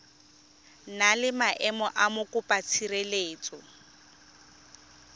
na le maemo a mokopatshireletso